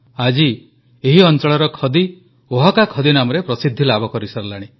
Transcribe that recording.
ଆଜି ଏହି ଅଂଚଳର ଖଦି ଓହାକା ଖଦି ନାମରେ ପ୍ରସିଦ୍ଧି ଲାଭ କରିସାରିଲାଣି